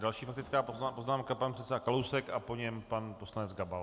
Další faktická poznámka, pan předseda Kalousek a po něm pan poslanec Gabal.